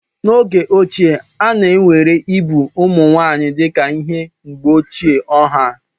N'oge ochie, a na-ewere igbu ụmụ nwanyị dịka ihe mgbochi ọha.